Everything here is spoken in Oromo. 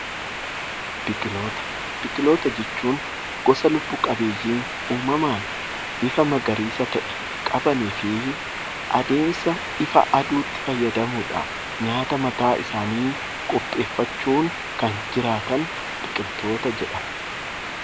Biqiloota jechuun gosa lubb-qabbeeyyii uumamaan bifa magariisa qabanii fi adeemsa ifa aduutti fayyadamuudhaan nyaata mataa isaanii qopheeffachuun kan jiraatan biqiloota jedhamu.